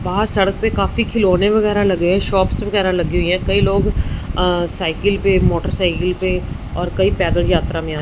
बाहर सड़क पे काफी खिलौने वगैरा लगे शॉप्स वगैरा लगी हुई है कई लोग अ साइकिल पे मोटरसाइकिल पे और कई पैदल यात्रा में आ--